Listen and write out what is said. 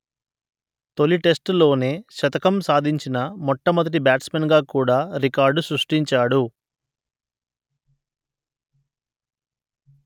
తొలి టెస్ట్ లోనే శతకం సాధించిన మొట్టమొదటి బ్యాట్స్‌మెన్ గా కూడా రికార్డు సృష్టించాడు